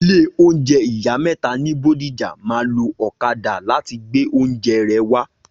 ilé oúnjẹ ìyá méta ní Bódìjà ma lo ọ̀kadà láti gbé oúnjẹ rẹ wá